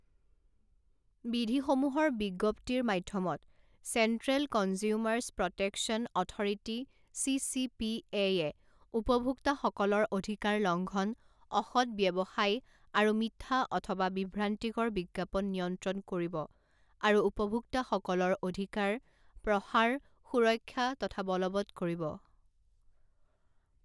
বিধিসমূহৰ বিজ্ঞপ্তিৰ মাধ্যমত central consumers protection authority CCPA য়ে উপভোক্তাসকলৰ অধিকাৰ লঙ্ঘন, অসৎ ব্যৱসায় আৰু মিথ্যা অথবা বিভ্ৰান্তিকৰ বিজ্ঞাপন নিয়ন্ত্ৰণ কৰিব আৰু উপভোক্তাসকলৰ অধিকাৰ, প্ৰসাৰ, সুৰক্ষা তথা বলৱৎ কৰিব।